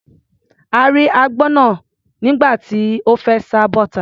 A rí agbọ́n náà nígbà tí ó fẹ́ sá bọ́ta.